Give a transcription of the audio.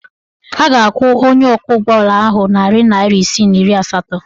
Ọ ga-akwụ onye ọkwọụgbọala ahụ narị naịra isii na iri asatọ.